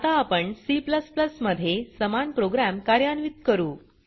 आता आपण C मध्ये समान प्रोग्राम कार्यान्वीत करू